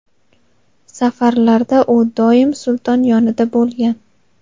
safarlarda u doim sulton yonida bo‘lgan.